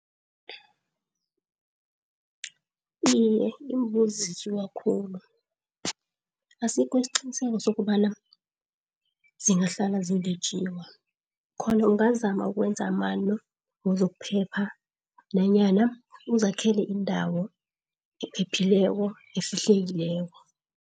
Iye imbuzi khulu. Asikho isiqiniseko sokobana zingahlala zingetjiwa, khona ungazama ukwenza amano wezokuphepha nanyana uzakhela indawo ephephileko nefihlekileko.